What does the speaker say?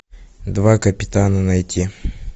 два капитана найти